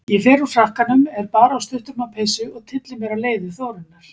Ég fer úr frakkanum, er bara á stutterma peysu og tylli mér á leiði Þórunnar